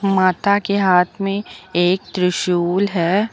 माता के हाथ में एक त्रिशूल है।